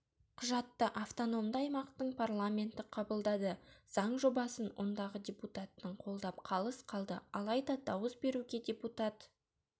құжатты автономды аймақтың парламенті қабылдады заң жобасын ондағы депутаттың қолдап қалыс қалды алайда дауыс беруге депутат